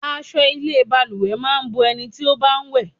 Aṣọ ilé balùwẹ̀ máa ń bo ẹni tí ó bá ń wẹ̀.